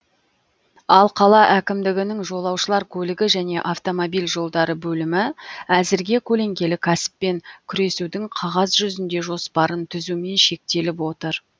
ал қала әкімдігінің жолаушылар көлігі және автомобиль жолдары бөлімі әзірге көлеңкелі кәсіппен күресудің қағаз жүзінде жоспарын түзумен шектеліп отыр